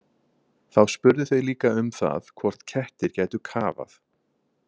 Þá spurðu þau líka um það hvort kettir gætu kafað.